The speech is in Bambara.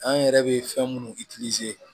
An yɛrɛ bɛ fɛn minnu